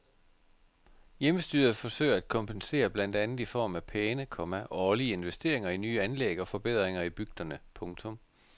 Hjemmestyret forsøger at kompensere blandt andet i form af pæne, komma årlige investeringer i nye anlæg og forbedringer i bygderne. punktum